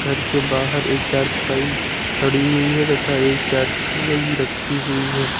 घर के बाहर एक चारपाई खड़ी हुई है तथा एक चारपाई रखी हुई है।